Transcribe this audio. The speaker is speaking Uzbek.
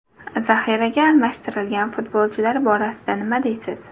Zaxiraga almashtirgan futbolchilar borasida nima deysiz?